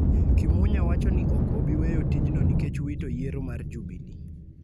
Kimunya wacho ni ok obi weyo tijno nikech wito oyiero mar Jubili